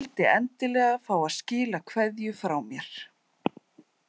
Vildi endilega fá að skila kveðju frá mér.